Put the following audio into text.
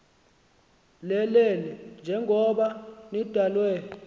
lelele njengoko nidalwe